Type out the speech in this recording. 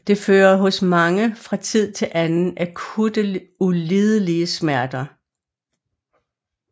Det fører hos mange fra tid til anden akutte ulidelige smerter